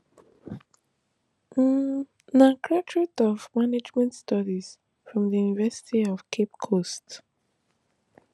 im na graduate of management studies from di university of cape coast